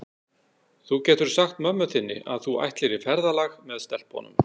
Þú getur sagt mömmu þinni að þú ætlir í ferðalag með stelpunum.